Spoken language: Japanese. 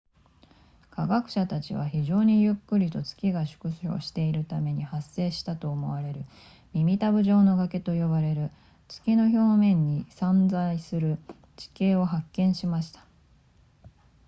科学者たちは非常にゆっくりと月が縮小しているために発生したと思われる耳たぶ状の崖と呼ばれる月の表面に散在する地形を発見しました